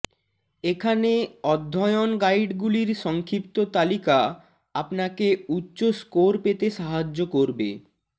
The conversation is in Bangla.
এখানে অধ্যয়ন গাইডগুলির সংক্ষিপ্ত তালিকা আপনাকে উচ্চ স্কোর পেতে সাহায্য করবে